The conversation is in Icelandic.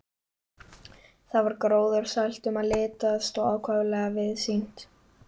Þar var gróðursælt um að litast og ákaflega víðsýnt.